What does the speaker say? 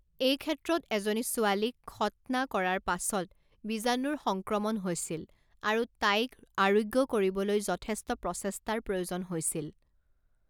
এটা ক্ষেত্ৰত এজনী ছোৱালীক খৎনা কৰাৰ পাছত বীজাণুৰ সংক্ৰমণ হৈছিল আৰু তাইক আৰোগ্য কৰিবলৈ যথেষ্ট প্ৰচেষ্টাৰ প্ৰয়োজন হৈছিল।